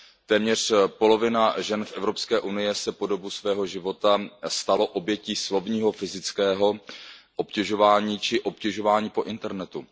Téměř polovina žen v Evropské unii se po dobu svého života stala obětí slovního, fyzického obtěžování či obtěžování po internetu.